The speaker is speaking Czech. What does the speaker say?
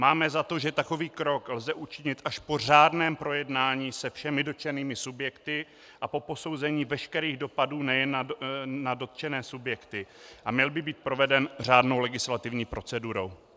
Máme za to, že takový krok lze učinit až po řádném projednání se všemi dotčenými subjekty a po posouzení veškerých dopadů nejen na dotčené subjekty a měl by být proveden řádnou legislativní procedurou.